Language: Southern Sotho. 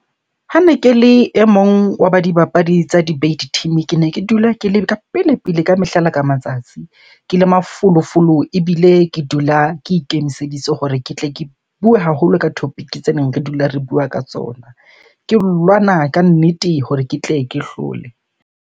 Hane ke le e mong wa ba dibapadi tsa debate team. Kene ke dula ke le ka pele-pele ka mehla le ka matsatsi. Ke le mafolofolo ebile ke dula ke ikemiseditse hore ke tle ke bue haholo ka topic tse neng re dula re bua ka tsona. Ke lwana ka nnete hore ke tle ke hlole.